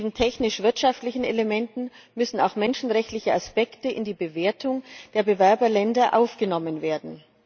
Neben technisch wirtschaftlichen Elementen müssen auch menschenrechtliche Aspekte in die Bewertung der Bewerberländer aufgenommen werden.